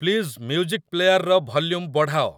please music ପ୍ଲେୟାର୍‌ର volume ବଢ଼ାଅ